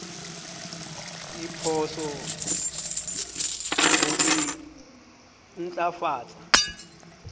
diphoso le ho e ntlafatsa